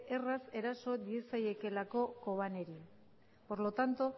erraz eraso diezaiekeelako kobaneri por lo tanto